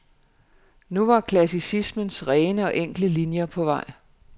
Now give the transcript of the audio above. Nu var klassicismens rene og enkle linier på vej.